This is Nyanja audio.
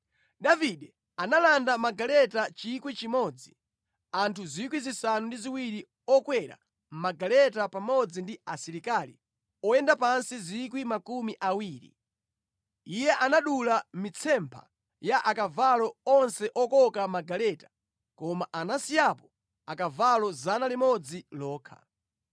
Davide analanda magaleta 1,000, anthu 7,000 okwera magaleta pamodzi ndi asilikali oyenda pansi 20,000. Iye anadula mitsempha ya akavalo onse okoka magaleta, koma anasiyapo akavalo 100 okha.